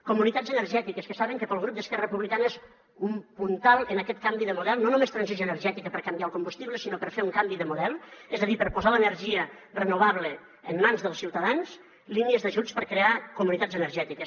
comunitats energètiques que saben que pel grup d’esquerra republicana és un puntal en aquest canvi de model no només transició energètica per canviar el combustible sinó per fer un canvi de model és a dir per posar l’energia renovable en mans dels ciutadans línies d’ajuts per crear comunitats energètiques